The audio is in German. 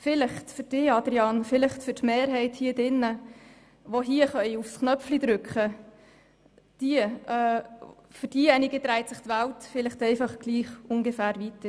Vielleicht für Sie, Grossrat Haas, und für die Mehrheit in diesem Saal, die auf den Abstimmungsknopf drücken kann, dreht sich die Welt einfach so weiter.